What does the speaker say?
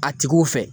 A tigiw fɛ